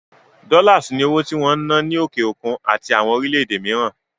Dollars ni owó tí wón ń ná ní òkè òkun àti àwọn orílẹ̀ èdè mìíràn